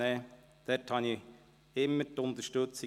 Dort erhielt ich immer Unterstützung.